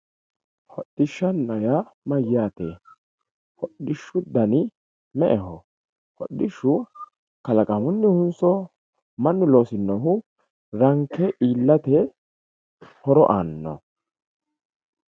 Hodhishshana yaa mayaate hodhishu dani me`eho hodhishu kalaqamunihunso manu losinohu ranke iilate horo aano.